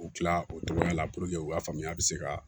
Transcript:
U kila o cogoya la puruke u ka faamuya bɛ se ka